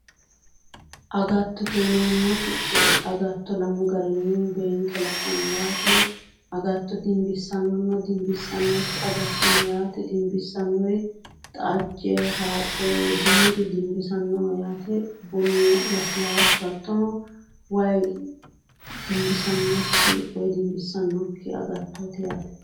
Agattote yineemmoti agatto lamu garinni beenke la'nanni yaate agatto dinbissaannonna dinbissannokki agatto no yaate dinbissannori xajje haraqe biiru dinbisannoho yaate bunu lasilaassu hattono wayi dinbisannokki woyi dinbissannokki agattooti yaate